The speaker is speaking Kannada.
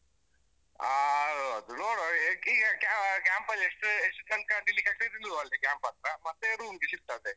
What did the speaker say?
ಅಹ್ ಅದು ನೋಡ್ವಾ ಹೇಗೆ, ಈಗ ಈಗ camp ಅಹ್ ಕ್ಯಾಂಪಲ್ಲಿ ಎಷ್ಟು ಅಹ್ ಎಸ್ಟೋತನಕಾ ನಿಲ್ಲಿಕಾಗತ್ತದೆ ನಿಲ್ಲುವ ಅಲ್ಲೇ camp ಹತ್ರ ಮತ್ತೆ room ಗೆ shift ಆದ್ರೆ ಆಯ್ತು.